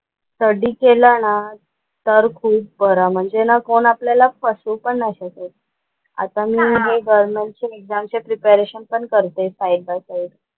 Study केला ना तर खूप बरं म्हणजे ना कोण आपल्याला फसवू पण नाही शकत. आता मी हे गव्हर्नमेंटचे एक्झामचे प्रिपरेशन पण करतेय साईड बाय साईड.